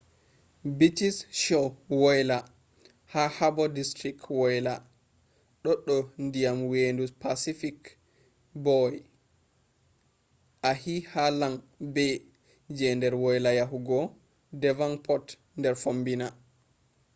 beaches shore wayla ha harbour district wayla ɗo do ndiyam vendu pacific boy ahi ha long bay je der wayla yahugo devonport der fommbina